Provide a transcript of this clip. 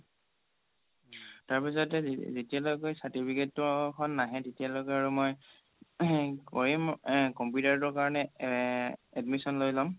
তাৰ পিছতে যেতিয়া লৈকে certificate তো নাহে তেতিয়া লৈকে আৰু মই throat কৰিম computer তোৰ কাৰণে এ admission মই ল'ম